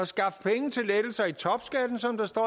skaffe penge til lettelser i topskatten som der står